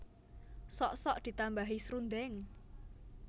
Sok sok ditambahi srundeng